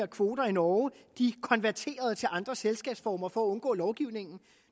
kvoter i norge konverterede til andre selskabsformer for at undgå lovgivningen